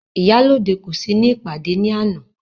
Ìyálóde kò sí ìpàdé ní àná..